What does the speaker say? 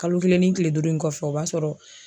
Kalo kelen ni kile duuru in kɔfɛ o b'a sɔrɔ.